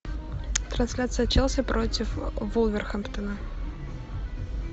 трансляция челси против вулверхэмптона